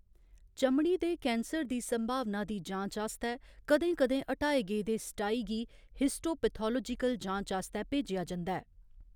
चमड़ी दे कैंसर दी संभावना दी जांच आस्तै कदें कदें हटाए गेदे स्टाई गी हिस्टोपैथोलाजिकल जांच आस्तै भेजेआ जंदा ऐ।